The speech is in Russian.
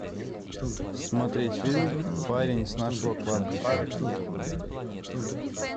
смотреть фильм парень с нашего кладбища